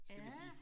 Ja